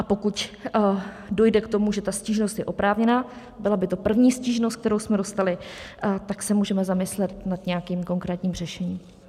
A pokud dojde k tomu, že ta stížnost je oprávněná, byla by to první stížnost, kterou jsme dostali, tak se můžeme zamyslet nad nějakým konkrétním řešením.